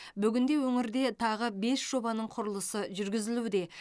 бүгінде өңірде тағы бес жобаның құрылысы жүргізілуде